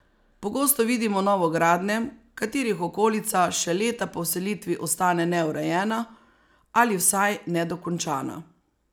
Pogosto vidimo novogradnje, katerih okolica še leta po vselitvi ostane neurejena ali vsaj nedokončana.